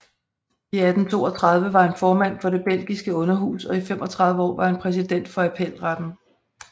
I 1832 var han formand for det belgiske underhus og i 35 år var han præsident for appelretten